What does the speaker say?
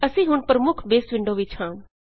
ਅਸੀਂ ਹੁੱਨ ਪ੍ਰਮੁੱਖ ਬੇਸ ਵਿੰਡੋ ਵਿੱਚ ਹਾਂ